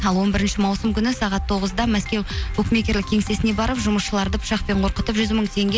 ал он бірінші маусым күні сағат тоғызда мәскеу букмекерік кеңсесіне барып жұмысшыларды пышақпен қорқытып жүз мың теңге